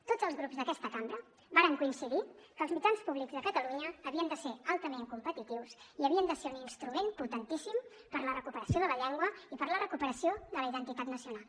tots els grups d’aquesta cambra varen coincidir que els mitjans públics de catalunya havien de ser altament competitius i havien de ser un instrument potentíssim per a la recuperació de la llengua i per a la recuperació de la identitat nacional